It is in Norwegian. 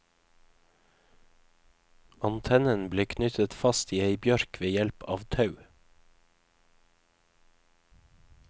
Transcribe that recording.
Antennen ble knyttet fast i ei bjørk ved hjelp av tau.